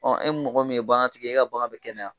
Ɔ e mɔgɔ min ye bagantigɛ ye, e ka bagan bɛ kɛnɛya.